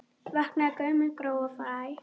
Vakna gömul gró og fræ.